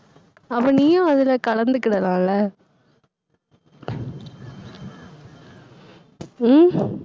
அப்ப நீயும் அதுல கலந்துக்கிடலாம்ல உம்